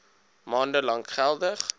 maande lank geldig